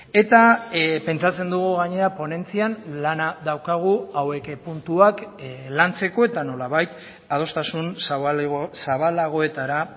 eta pentsatzen dugu gainera ponentzian lana daukagu hauek puntuak lantzeko eta nolabait adostasun zabalagoetara